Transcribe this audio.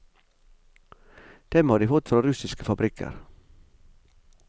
Dem har de fått fra russiske fabrikker.